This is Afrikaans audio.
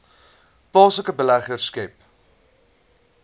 plaaslike beleggers skep